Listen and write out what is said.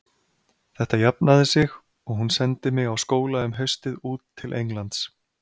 Þetta jafnaði sig og hún sendi mig á skóla um haustið út til Englands.